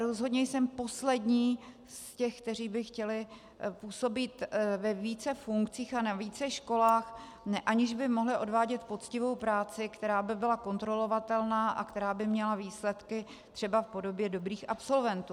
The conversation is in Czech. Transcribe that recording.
Rozhodně jsem poslední z těch, kteří by chtěli působit ve více funkcích a na více školách, aniž by mohli odvádět poctivou práci, která by byla kontrolovatelná a která by měla výsledky třeba v podobě dobrých absolventů.